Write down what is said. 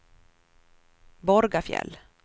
Borgafjäll